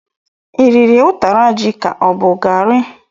Iriri ụtara ji ka ọ bụ garri?